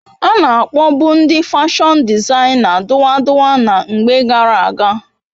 Ana akpobu ndi fashon dizaina duwa duwa na mgbe gara aga